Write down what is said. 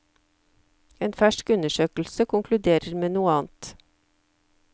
En fersk undersøkelse konkluderer med noe annet.